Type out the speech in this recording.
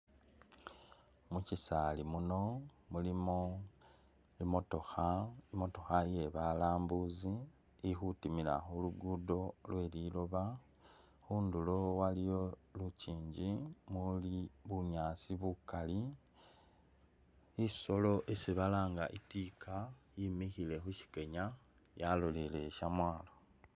Mushisaali muno mulimo imotokha, imotokha iye balambuzi ili khutimila khulugudo, khundulo waliyo lukingi bunyaasi bukaali, isoolo isi balanga itika yimikhile khusikewa yalolele shamwalo.